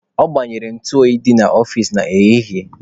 Ọ gbanyere ntụ oyi dị n'ọfici ya n'ehihie.